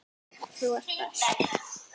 Þú ert best.